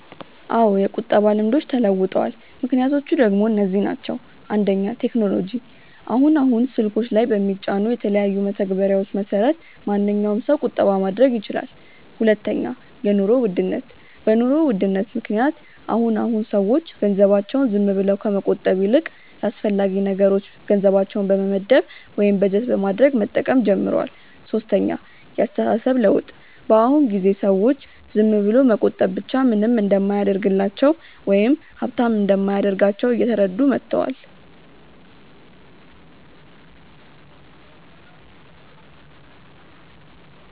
አዎ የቁጠባ ልምዶች ተለውጠዋል። ምክንያቶቹ ደሞ እነዚህ ናቸው፦ 1. ቴክኖሎጂ፦ አሁን አሁን ስልኮች ላይ በሚጫኑ የተለያዩ መተግበሪያዎች መሰረት ማንኛዉም ሰው ቁጠባ ማድረግ ይችላል 2. የኑሮ ውድነት፦ በ ኑሮ ውድነት ምክንያት አሁን አሁን ሰዎች ገንዘባቸውን ዝም ብለው ከመቆጠብ ይልቅ ለአስፈላጊ ነገሮች ገንዘባቸውን በመመደብ ወይም በጀት በማድረግ መጠቀም ጀምረዋል 3. የ አስተሳሰብ ለውጥ፦ በ አሁን ጊዜ ሰዎች ዝም ብሎ መቆጠብ ብቻ ምንም እንደማያደርግላቸው ወይም ሃብታም እንደማያደርጋቸው እየተረዱ መተዋል